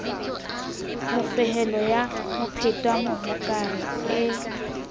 mofehelo ya mophetwa mohokare e